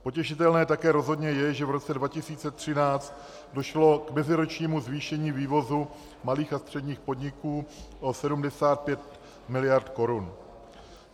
Potěšitelné také rozhodně je, že v roce 2013 došlo k meziročnímu zvýšení vývozu malých a středních podniků o 75 miliard korun.